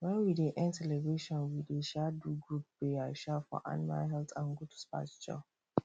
when we dey end celebration we dey um do group prayer um for animal health and good pasture